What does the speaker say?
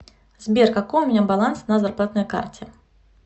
сбер какой у меня баланс на зарплатной карте